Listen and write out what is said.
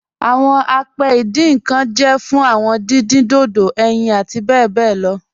Awọn àpẹ̀ ìdìn nkan jẹ́ fún awọn dídìn dodò, ẹ̀yin àti bẹ bẹ lọ